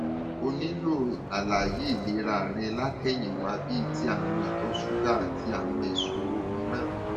o nílò àlàyé ìlera rẹ látẹyìnwá bíi ti àrùn ìtọ ṣúgà àti àwọn ìṣòro mìíràn